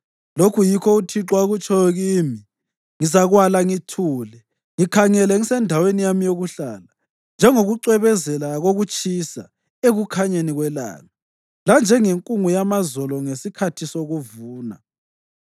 Lokhu yikho uThixo akutshoyo kimi: “Ngizakwala ngithule, ngikhangele ngisendaweni yami yokuhlala, njengokucwebezela kokutshisa ekukhanyeni kwelanga, lanjengenkungu yamazolo ngesikhathi sokuvuna.”